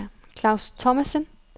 Klaus Thomassen